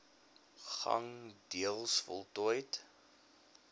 gang deels voltooid